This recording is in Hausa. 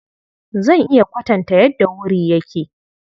Zan iya kwatanta yadda wuri yake.